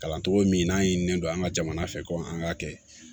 Kalan cogo min n'an yini don an ka jamana fɛ ko an k'a kɛ